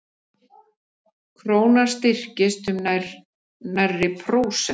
Krónan styrktist um nærri prósent